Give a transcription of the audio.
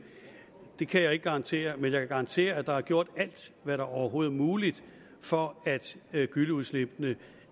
det kan jeg ikke garantere men jeg kan garantere at der er gjort alt hvad der overhovedet er muligt for at gylleudslip